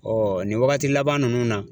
Ɔ nin wagati laban ninnu na